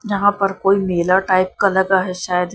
यहां पर कोई मेला टाइप का लगा है शायद ।